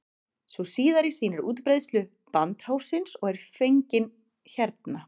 sú síðari sýnir útbreiðslu brandháfsins og er fengin hérna